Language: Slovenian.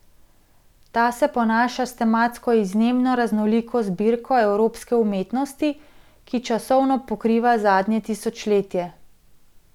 Ta se ponaša s tematsko izjemno raznoliko zbirko evropske umetnosti, ki časovno pokriva zadnje tisočletje.